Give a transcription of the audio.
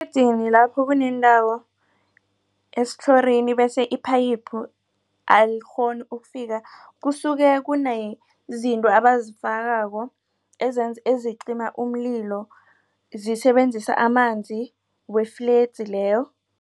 Efledzini lapho kuneendawo esitlhorini bese iphayiphu alikghoni ukufika kusuke kunezinto abazifakako ezicima umlilo zisebenzisa amanzi we-fledzi leyo.